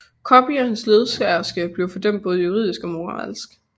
Coppi og hans ledsagerske blev fordømt både juridisk og moralsk